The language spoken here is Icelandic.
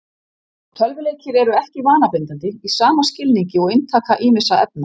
Tölvuleikir eru ekki vanabindandi í sama skilningi og inntaka ýmissa efna.